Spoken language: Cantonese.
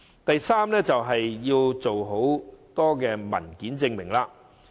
第三，便是計劃要求提供很多文件證明。